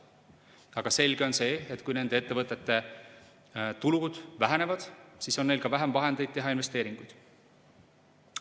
Aga selge on see, et kui nende ettevõtete tulud vähenevad, siis on neil ka vähem vahendeid investeeringuteks.